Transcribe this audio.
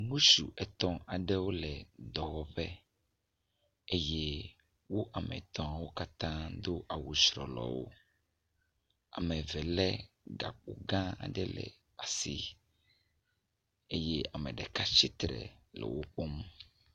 Ŋutsu etɔ̃ aɖewo le dɔwɔƒe eye wo katã wo ame etɔ̃wo katã do awu trɔlɔwo. Ame eve le gakpo gã aɖe ɖe asi eye ame ɖeka tsitre e wo kpɔm.